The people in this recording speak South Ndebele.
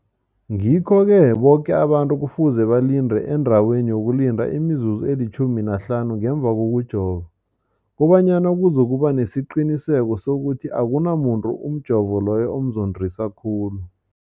Ngikho-ke boke abantu kufuze balinde endaweni yokulinda imizuzu eli-15 ngemva kokujova, koba nyana kuzokuba nesiqiniseko sokuthi akunamuntu umjovo loyo omzondisa khulu.